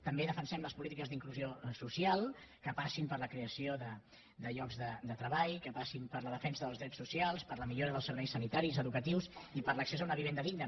també defensem les polítiques d’inclusió social que passin per la creació de llocs de treball que passin per la defensa dels drets socials per la millora dels serveis sanitaris i educatius i per l’accés a una vivenda digna